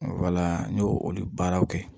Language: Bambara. Wala n ye olu baaraw kɛ